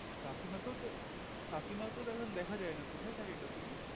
কাকিমা কেও তো কাকিমা কেও তো দেখা যাই না কোথায় থাকে কাকিমা